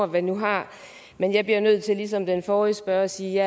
man nu har men jeg bliver nødt til ligesom den forrige spørger at sige